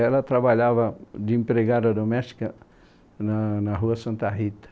Ela trabalhava de empregada doméstica na na rua Santa Rita.